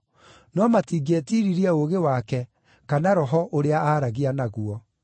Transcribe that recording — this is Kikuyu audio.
no matingĩetiiririe ũũgĩ wake kana Roho ũrĩa aaragia naguo.